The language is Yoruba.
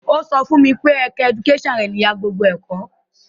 Ó sọ fún mi pé ẹ̀ka ẹdukásàn ni ìyá gbogbo ẹ̀kọ́